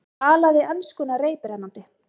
Talaði enskuna reiprennandi.